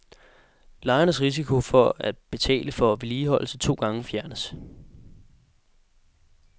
Lejernes risiko for at betale for vedligeholdelse to gange fjernes.